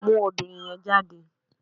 Mú obìnrin yẹn jáde